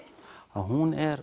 hún er